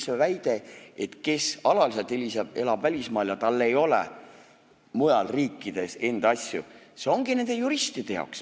See väide, et kes alaliselt elab välismaal ja tal ei ole mujal riikides enda asju – see ongi nende juristide jaoks.